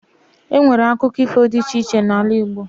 Enwere akụkọ ifo dị iche iche n'ala igbo